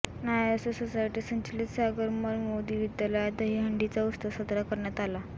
नाएसो society संचलित सागरमल मोदी विद्यालयात दहीहंडीचा उत्सव साजरा करण्यात आला